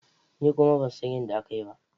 Ni kuma ban san yadda aka yi ba.